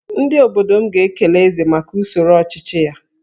Ndị obodo m ga-ekele Eze maka usoro ọchịchị ya